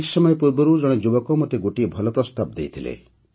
କିଛି ସମୟ ପୂର୍ବରୁ ଜଣେ ଯୁବକ ମୋତେ ଗୋଟିଏ ଭଲ ପ୍ରସ୍ତାବ ଦେଇଥିଲେ